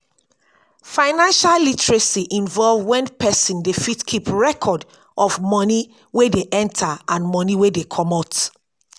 financial literacy involve when person dey fit keep record of money wey dey enter and money wey dey comot